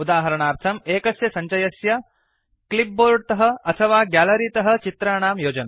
उदाहर्णार्थम् एकस्य सञ्चयस्य clipboard तः अथवा ग्यालरि तः चित्राणां योजनम्